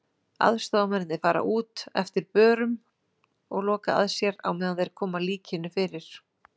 Aðstoðarmennirnir fara út eftir börum og loka að sér á meðan þeir koma líkinu fyrir.